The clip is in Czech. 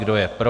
Kdo je pro?